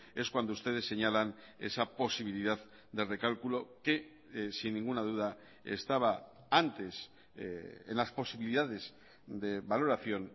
es cuando ustedes señalan esa posibilidad de recálculo que sin ninguna duda estaba antes en las posibilidades de valoración